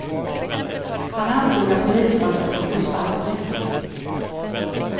Han ansåg att polismannen borde få sparken.